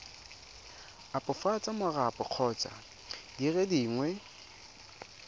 opafatsa marapo kgotsa dire dingwe